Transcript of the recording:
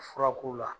Furako la